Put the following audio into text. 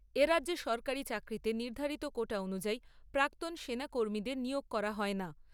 এ রাজ্যে সরকারি চাকরিতে নির্ধারিত কোটা অনুযায়ী প্রাক্তন সেনাকর্মীদের নিয়োগ করা হয় না।